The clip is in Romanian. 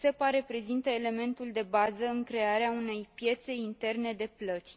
SEPA reprezintă elementul de bază în crearea unei piețe interne de plăți.